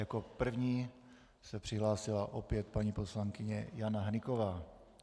Jako první se přihlásila opět paní poslankyně Jana Hnyková.